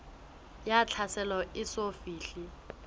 ya tlhaselo e eso fihle